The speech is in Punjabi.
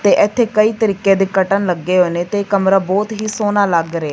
ਤੇ ਇੱਥੇ ਕਈ ਤਰੀਕੇ ਦੇ ਕਰਟਣ ਲੱਗੇ ਹੋਏ ਨੇ ਤੇ ਕਮਰਾ ਬਹੁਤ ਹੀ ਸੋਹਣਾ ਲੱਗ ਰਿਹਾ।